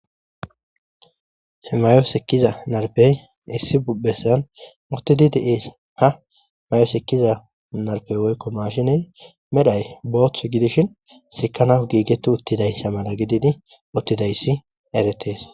he mayo sekiza narbey issi bubpessan mutidi deees ha may7o sekiza narpey woykko maashiney medhay booth gidishin sikana giigetti uttidayssa mala gididi uttidayssi eretees